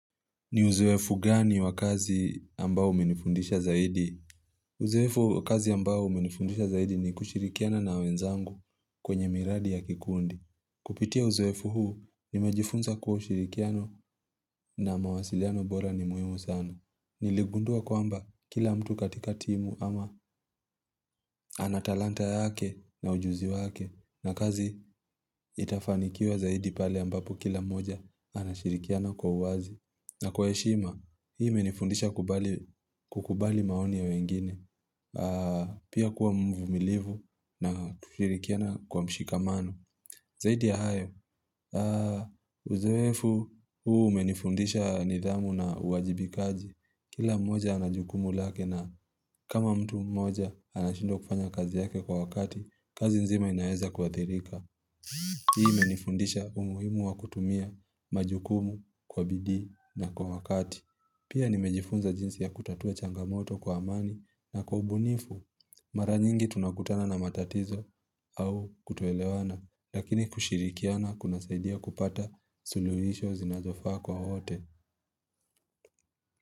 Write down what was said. Ni uzoefu gani wa kazi ambao umenifundisha zaidi? Uzoefu kazi ambao umenifundisha zaidi ni kushirikiana na wenzangu kwenye miradi ya kikundi. Kupitia uzoefu huu, nimejifunza kuwa ushirikiano na mawasiliano bora ni muhimu sana. Niligundua kwamba kila mtu katika timu ana talanta yake na ujuzi wake na kazi itafanikiwa zaidi pale ambapo kila mmoja anashirikiana kwa uwazi. Na kwa heshima, hii imenifundisha kukubali maoni ya wengine. Pia kuwa mvumilivu na kufirikiana kwa mshikamano. Zaidi ya hayo, uzoefu huu umenifundisha nidhamu na uwajibikaji. Kila mmoja ana jukumu lake na kama mtu mmoja anashindwa kufanya kazi yake kwa wakati, kazi nzima inaeza kuathirika. Hii imenifundisha umuhimu wa kutumia majukumu kwa bidii na kwa wakati. Pia nimejifunza jinsi ya kutatua changamoto kwa amani na kwa ubunifu Mara nyingi tunakutana na matatizo au kutoelewana. Lakini kushirikiana kunasaidia kupata suluhisho zinazofaa kwa wote.